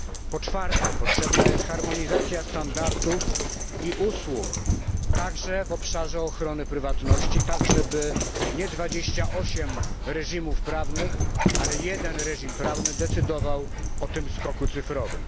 Po czwarte, potrzebna jest harmonizacja standardów i usług, także w obszarze ochrony prywatności, tak żeby nie 28 reżimów, ale jeden reżim prawny decydował o tym skoku cyfrowym.